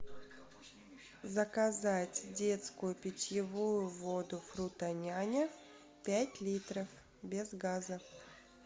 заказать детскую питьевую воду фрутоняня пять литров без газа